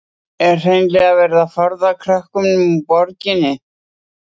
En er hreinlega verið að forða krökkunum úr borginni?